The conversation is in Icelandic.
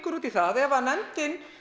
út í það ef að nefndin